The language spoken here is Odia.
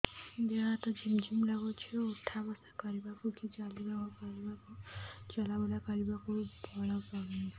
ଦେହେ ହାତ ଝିମ୍ ଝିମ୍ ଲାଗୁଚି ଉଠା ବସା କରିବାକୁ କି ଚଲା ବୁଲା କରିବାକୁ ବଳ ପାଉନି